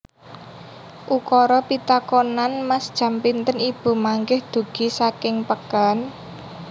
Ukara pitakonan Mas jam pinten ibu mangkih dugi saking peken